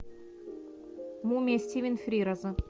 мумия стивен фрираза